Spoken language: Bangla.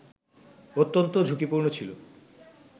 অত্যন্ত ঝুঁকিপূর্ণ ছিল